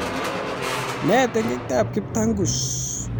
Nee tengektab Kiptangus